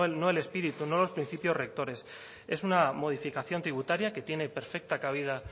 no no el espíritu no los principios rectores es una modificación tributaria que tiene perfecta cabida